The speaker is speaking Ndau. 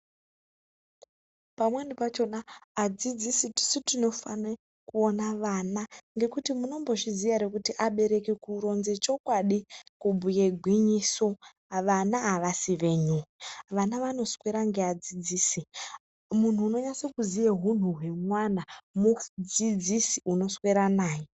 Pamweni pachona adzidzisi tisu tinofane kuona mwana ngekuti munombozviziya hr kuti abereki kuronze chokwadi ksubhuye gwinyiso vana hawasi wenyu vana vanoswera ngameadzidzisi munhu unonase kuziya hunhu wemwana mudzidzisi unoswera naye.